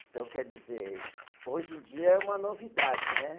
Então, quer dizer, hoje em dia é uma novidade, né?